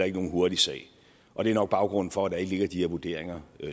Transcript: ikke nogen hurtig sag og det er nok baggrunden for at der ikke ligger de her vurderinger